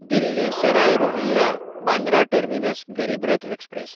Delhi Sarai Rohilla Bandra terminus Garib Rath express